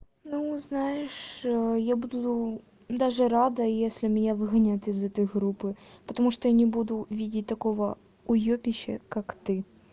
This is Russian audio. ну знаешь ээ я буду даже рада если меня выгонят из этой группы потому что я не буду видеть такого уйобище как ты